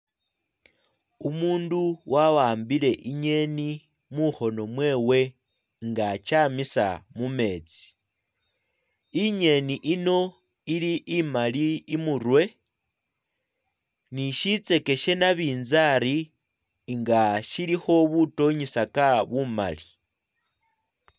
Umundu wa'ambile ingeni mukhono mwewe nga akyamisa mumetsi ingeni ino ili imali imurwe ni sitseke she nabintsari nga silikho butonyisaka bumali.